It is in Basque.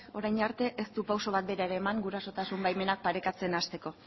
orain arte ez du pausu bat bera eman gurasotasun baimenak parekatzen hasteko